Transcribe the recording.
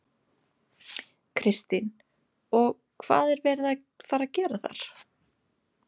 Kristín: Og hvað er verið að fara að gera þar?